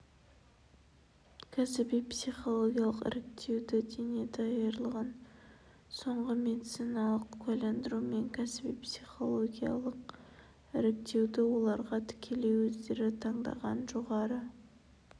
кәсіби-психологиялық іріктеуді дене даярлығын соңғы медициналық куәландыру мен кәсіби-психологиялық іріктеуді оларға тікелей өздері таңдаған жоғары